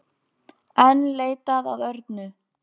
Enn leitað að Örnu